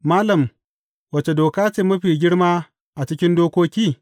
Malam, wace doka ce mafi girma a cikin dokoki?